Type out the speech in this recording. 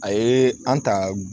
A ye an ta